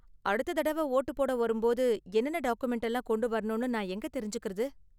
அடுத்த தடவ வோட்டு போட வரும்போது என்னென்ன டாக்குமென்ட் எல்லாம் கொண்டு வரணும்னு நான் எங்க தெரிஞ்சுக்கறது?